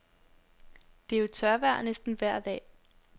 Det er jo tørvejr næsten vejr dag.